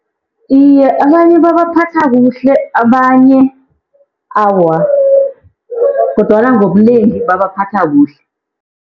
Iye, abanye babaphatha kuhle, abanye awa. Kodwana ngobunengi babaphatha kuhle.